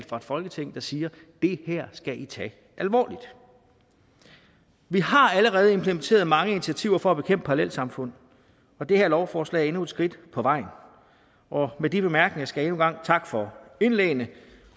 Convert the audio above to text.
fra folketinget at sige det her skal i tage alvorligt vi har allerede implementeret mange initiativer for at bekæmpe parallelsamfund det her lovforslag er endnu et skridt på vejen med de bemærkninger skal jeg endnu en gang takke for indlæggene